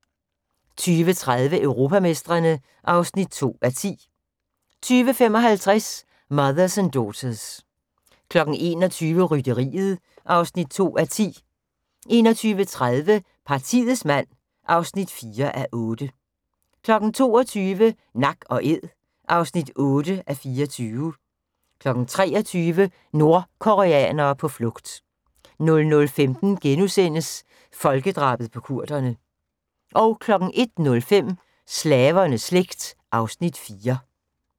20:30: Europamestrene (2:10) 20:55: Mothers and Daughters 21:00: Rytteriet (2:10) 21:30: Partiets mand (4:8) 22:00: Nak & æd (8:24) 23:00: Nordkoreanere på flugt 00:15: Folkedrabet på kurderne * 01:05: Slavernes slægt (Afs. 4)